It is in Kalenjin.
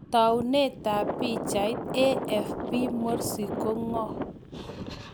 Taunetab pichait, AFP Morsi ko ng'o?